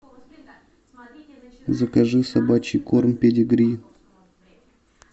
закажи собачий корм педигри